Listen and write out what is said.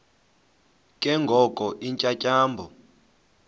ke ngoko iintyatyambo